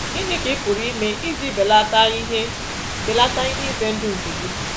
Gịnị ka ị pụrụ ime iji belata ihe belata ihe ize ndụ nke gị?